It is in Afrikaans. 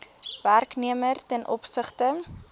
werknemer ten opsigte